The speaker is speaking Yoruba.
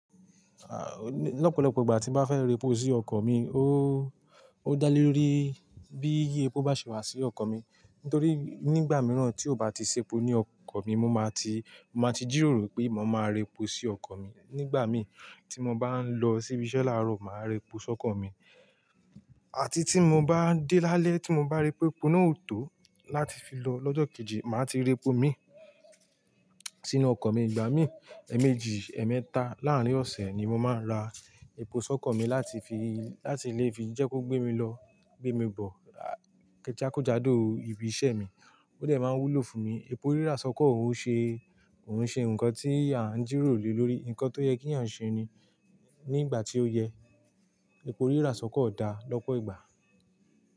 Ah, lọ́pọ̀lọ́pọ̀ ìgbà tí bá fẹ́ re epo sí ọkọ̀ mi, ó, ó dá lé lórí bí iye epo bá ṣe wà sí ọkọ̀ mi. Nítorí nígbà mìíràn tí ó bá ti ṣe epo ní ọkọ̀ mi, mo máa ti, mo máa ti jìròrò pé mo máa rẹ epo sí ọkọ̀ mi. Nígbà mi tí mo bá ń lọ síbi iṣẹ́ láàárọ̀, màá rẹ epo sọ́kọ̀ mi. Àti tí mo bá dé lálẹ́ tí mo bá rí pé epo náà ò tó láti fi lọ lọ́jọ́ kejì, màá ti rẹ epo mi sínú ọkọ̀ mi. Ìgbà míi, ẹ̀ẹ̀mejì ẹ̀ẹ̀mẹta láàrín ọ̀sẹ̀ ni mo máa ń ra epo sí ọkọ̀ mi láti lè fi jẹ́ kọ́ gbé mi lọ gbé mi bọ̀ jákèjádò ibi iṣẹ́ mi ó dẹ̀ máa ń wúlò fún mi. Epo rírà sọ́kọ̀ o n ṣe, ò n ṣe nǹkan tí à ń jìròrò lé lórí, nǹkan tó yẹ kí à ń ṣe ni nígbà tí ó yẹ. Epo rírà sọ́kọ̀ dá lọ́pọ̀ ìgbà.